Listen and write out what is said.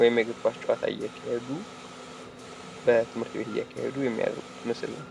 ወይም የእግር ኳስ ጨዋታ እያካሄዱ በትምህርት ቤት እያካሄዱ የሚያደርጉት ምስል ነው ።